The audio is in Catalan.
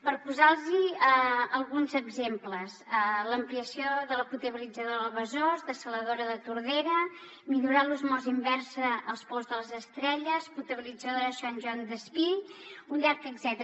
per posar los alguns exemples l’ampliació de la potabilitzadora del besòs dessaladora de tordera millorar l’osmosi inversa als pous de les estrelles potabilitzadora de sant joan despí un llarg etcètera